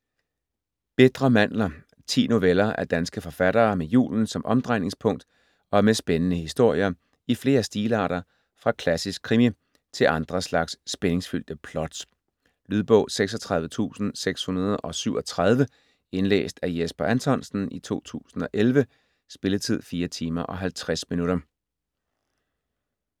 Bitre mandler 10 noveller af danske forfattere med julen som omdrejningspunkt og med spændende historier i flere stilarter fra klassisk krimi til andre slags spændingsfyldte plots. Lydbog 36637 Indlæst af Jesper Anthonsen, 2011. Spilletid: 4 timer, 50 minutter.